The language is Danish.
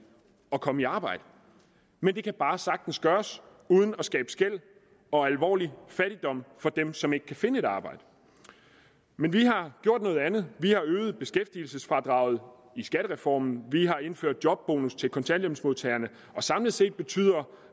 at komme i arbejde men det kan bare sagtens gøres uden at skabe skel og alvorlig fattigdom for dem som ikke kan finde et arbejde men vi har gjort noget andet vi har øget beskæftigelsesfradraget i skattereformen vi har indført jobbonus til kontanthjælpsmodtagerne og samlet set betyder